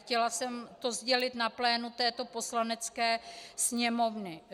Chtěla jsem to sdělit na plénu této Poslanecké sněmovny.